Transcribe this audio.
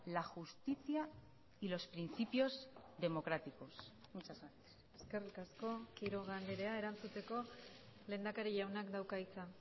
la justicia y los principios democráticos muchas gracias eskerrik asko quiroga andrea erantzuteko lehendakari jaunak dauka hitza